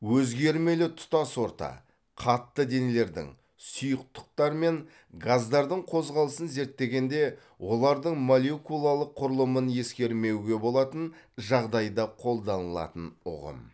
өзгермелі тұтас орта қатты денелердің сұйықтықтар мен газдардың қозғалысын зерттегенде олардың молекулалық құрылымын ескермеуге болатын жағдайда қолданылатын ұғым